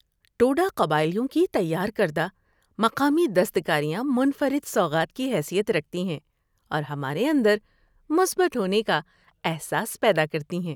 ٹوڈا قبائلیوں کی تیار کردہ مقامی دستکاریاں منفرد سوغات کی حیثیت رکھتی ہیں اور ہمارے اندر مثبت ہونے کا احساس پیدا کرتی ہیں۔